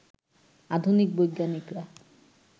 আধুনিক বৈজ্ঞানিকরা